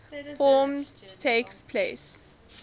forms takes place